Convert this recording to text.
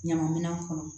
Ɲama minɛn kɔnɔ